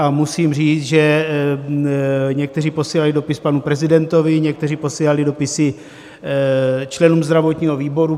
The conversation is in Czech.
A musím říct, že někteří posílali dopis panu prezidentovi, někteří posílali dopisy členům zdravotního výboru.